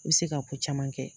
I bɛ se ka ko caman kɛ